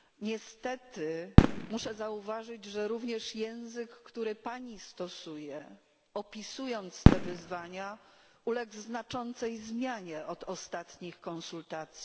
Niestety muszę zauważyć, że również język, który Pani stosuje, opisując te wyzwania, uległ znaczącej zmianie od ostatnich konsultacji.